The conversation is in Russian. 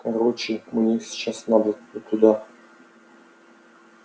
короче мне сейчас надо туда